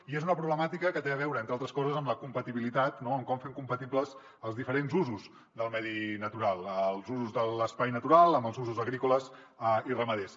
i és una problemàtica que té a veure entre altres coses amb la compatibilitat no amb com fem compatibles els diferents usos del medi natural els usos de l’espai natural amb els usos agrícoles i ramaders